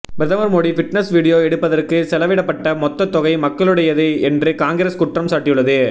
பிரதமர் Modi fitness video எடுப்பதற்கு செலவிடப்பட்ட மொத்த தொகை மக்களுடையது என்று காங்கிரஸ் குற்றம் சாட்டியுள்ளது